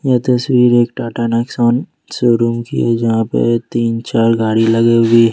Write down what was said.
यह तस्वीर एक टाटा नेक्सॉन शोरूम की है यहां पर तीन चार गाड़ी लगे हुए है।